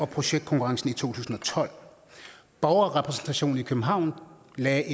projektkonkurrence i to tusind og tolv borgerrepræsentationen i københavn lavede